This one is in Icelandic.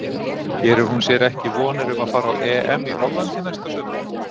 Gerir hún sér ekki vonir um að fara á EM í Hollandi næsta sumar?